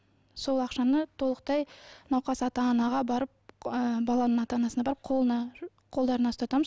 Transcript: сол ақшаны толықтай науқас ата анаға барып ы баланың ата анасына барып қолына қолдарына ұстатамыз